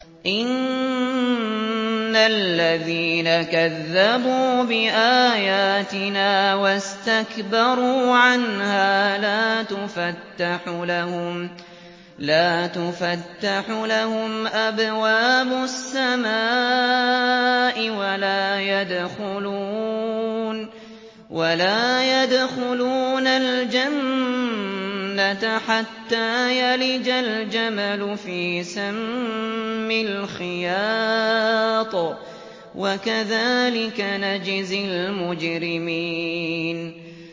إِنَّ الَّذِينَ كَذَّبُوا بِآيَاتِنَا وَاسْتَكْبَرُوا عَنْهَا لَا تُفَتَّحُ لَهُمْ أَبْوَابُ السَّمَاءِ وَلَا يَدْخُلُونَ الْجَنَّةَ حَتَّىٰ يَلِجَ الْجَمَلُ فِي سَمِّ الْخِيَاطِ ۚ وَكَذَٰلِكَ نَجْزِي الْمُجْرِمِينَ